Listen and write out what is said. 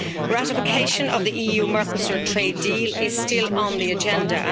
Ratification of the EU Mercosur trade deal is still on the agenda.